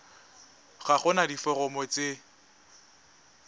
ga go na diforomo tse